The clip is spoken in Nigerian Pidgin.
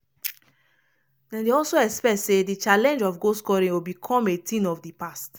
as as nff don confam fidi george pipo dey expect am to begin build im team and design a stable playing pattern for di super eagles.